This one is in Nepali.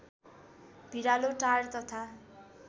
भिरालो टार तथा